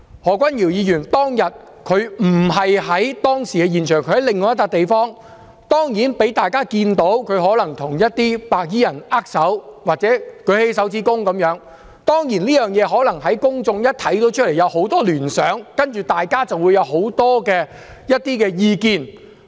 何君堯議員當天並不在現場，他在另一個地方，但當然，他被大家看到他可能與一些白衣人握手或豎起拇指，公眾看在眼中可能引起很多聯想，然後便會有很多意見。